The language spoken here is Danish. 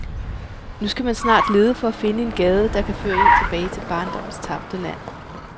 Nu skal man snart lede for at finde en gade, der kan føre en tilbage til barndommens tabte land.